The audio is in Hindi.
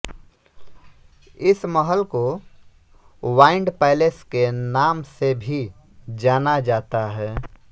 इस महल को वाइंड पैलेस के नाम से भी जाना जाता है